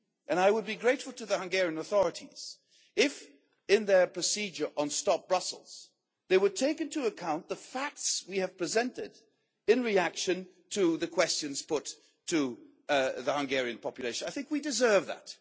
I would be grateful to the Hungarian authorities if, in their procedure on Stop Brussels', they would take into account the facts we have presented in reaction to the questions put to the Hungarian population. I think we deserve that.